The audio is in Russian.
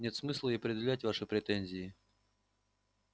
нет смысла и предъявлять ваши претензии